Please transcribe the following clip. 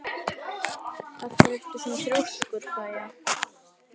Af hverju ertu svona þrjóskur, Kaía?